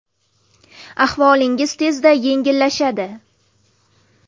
Ahvolingiz tezda yengillashadi.